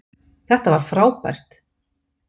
Þetta var frábært!